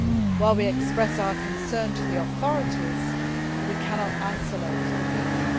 While we express our concern to the authorities, we cannot isolate the people.